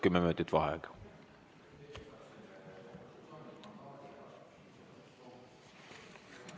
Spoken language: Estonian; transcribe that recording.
Kümme minutit vaheaega.